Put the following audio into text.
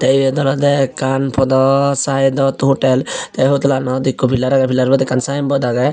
iyod olodey ekkan podo saidot hotel te hotelanot pillar agey pillarbot ekkan sayenbod agey.